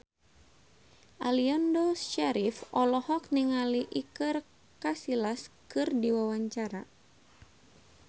Aliando Syarif olohok ningali Iker Casillas keur diwawancara